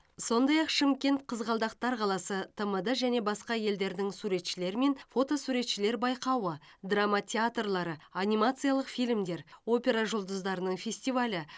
сондай ақ шымкент қызғалдақтар қаласы тмд және басқа елдерінің суретшілері және фотосуретшілер байқауы драма театрлары анимациялық фильмдер опера жұлдыздарының фестивалі